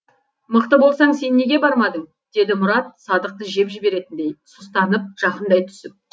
мықты болсаң сен неге бармадың деді мұрат садықты жеп жіберетіндей сұстанып жақындай түсіп